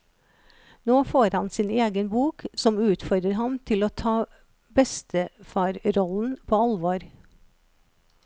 Nå får han sin egen bok, som utfordrer ham til å ta bestefarrollen på alvor.